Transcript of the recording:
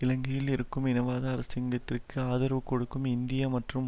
இலங்கையில் இருக்கும் இனவாத அரசிங்கத்திற்கு ஆதரவு கொடுக்கும் இந்திய மற்றும்